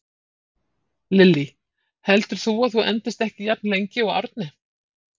Lillý: Heldur þú að þú endist ekki jafn lengi og Árni?